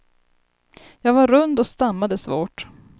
Jag var rund och stammade svårt.